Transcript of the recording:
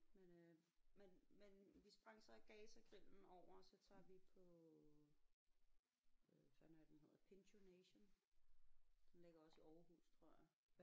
Men øh men men vi sprang så Gaza Grillen over så tager vi på øh hvad fanden er det den hedder Pincho Nation den ligger også i Aarhus tror jeg